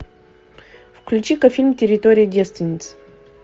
включи ка фильм территория девственниц